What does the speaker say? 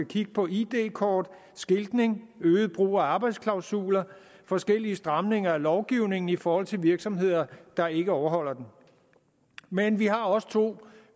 kigge på id kort skiltning øget brug af arbejdsklausuler og forskellige stramninger af lovgivningen i forhold til virksomheder der ikke overholder den men vi har også to